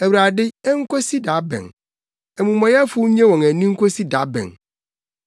Awurade, enkosi da bɛn, amumɔyɛfo nnye wɔn ani nkosi da bɛn?